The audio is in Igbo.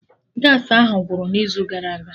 Gaasị ahụ gwụrụ n'izu gara aga